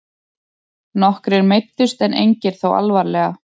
Nokkrir meiddust en engir þó alvarlega